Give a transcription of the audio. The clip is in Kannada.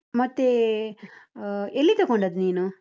ಮತ್ತೆ, ಆ ಎಲ್ಲಿ ತಕೊಂಡದ್ ನೀನು?